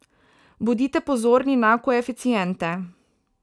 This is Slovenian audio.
Bodite pozorni na koeficiente.